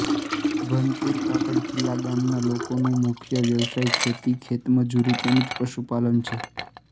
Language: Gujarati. ભનપુર કાકડખીલા ગામના લોકોનો મુખ્ય વ્યવસાય ખેતી ખેતમજૂરી તેમ જ પશુપાલન છે